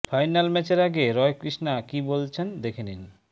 final ম্যাচের আগে Roy Krishna কী বলছেন দেখে নিন